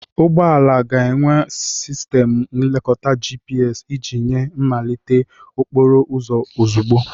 Ụgbọ ala ga-enwe sistemu nlekota GPS iji nye mmelite okporo ụzọ ozugbo.